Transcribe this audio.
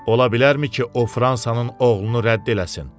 Ola bilərmi ki, o Fransanın oğlunu rədd eləsin?